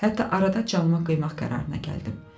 Hətta arada canıma qıymaq qərarına gəldim.